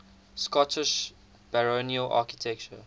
scottish baronial architecture